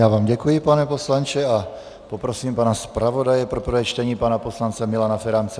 Já vám děkuji, pane poslanče, a poprosím pana zpravodaje pro prvé čtení, pana poslance Milana Ferance.